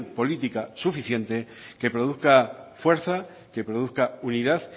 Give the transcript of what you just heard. política suficiente que produzca fuerza que produzca unidad